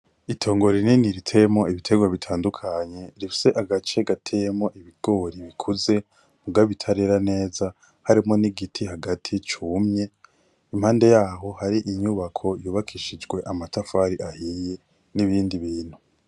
Itongoro rinini ritemo ibitegwa bitandukanye rifise agace gatemo ibigori bikuze muwabitarera neza harimo n'igiti hagati cumye impande yaho hari inyubako yubakishijwe amatafari ahiye n'ibindi bintu.